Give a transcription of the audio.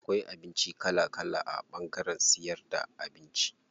Akwai abinci kala kala a ɓangaren siyar da abinci.